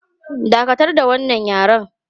Dakatar da wannan yaren!